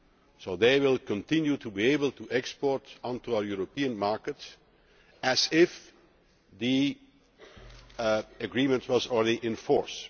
So they will continue to be able to export onto our European markets as if the agreement were already in force.